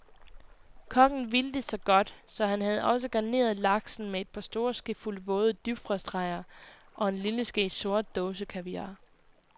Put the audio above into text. Kokken ville det så godt, så han havde også garneret laksen med et par store skefulde våde dybfrostrejer og en lille ske sort dåsekaviar.